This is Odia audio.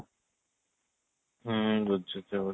ହୁଁ ବୁଝୁଛି